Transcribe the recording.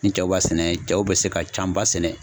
Ni cɛw b'a sɛnɛ cɛw bɛ se ka can ba sɛnɛ.